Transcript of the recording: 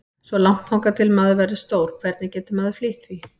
Svo langt þangað til maður verður stór, hvernig getur maður flýtt því?